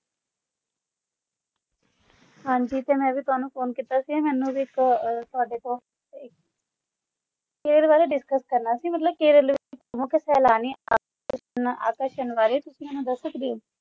ਹਾਂਜੀ ਤੇ ਮੈਂ ਵੀ ਤੁਹਾਨੂੰ phone ਕੀਤਾ ਸੀ ਮੈਨੂੰ ਵੀ ਇਕ ਤੁਹਾਡੇ ਤੋਂ ਇਕ ਕੇਰਲ ਬਾਰੇ discuss ਕਰਨਾ ਸੀ ਮਤਲਬ ਕੇਰਲ ਮੁਖ ਵਾਰੇ ਤੁਸੀਂ ਮੈਨੂੰ ਦਸ ਸਕਦੇ ਹੋ